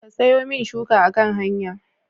Ka siyomin shuka a kan hanya